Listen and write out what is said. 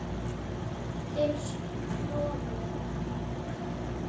Til stofu.